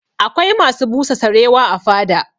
Akwai masu busa sarewa a fada